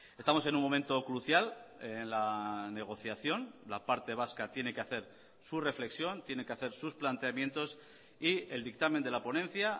estamos en un momento crucial en la negociación la parte vasca tiene que hacer su reflexión tiene que hacer sus planteamientos y el dictamen de la ponencia